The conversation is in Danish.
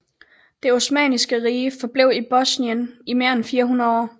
Det Osmanniske Rige forblev i Bosnien i mere end 400 år